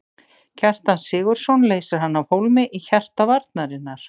Kjartan Sigurðsson leysir hann af hólmi í hjarta varnarinnar.